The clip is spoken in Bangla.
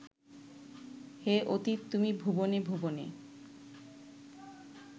হে অতীত তুমি ভুবনে ভুবনে